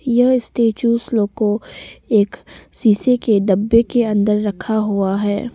यह स्टेच्यू लोग एक शीशे के डब्बे के अंदर रखा हुआ है।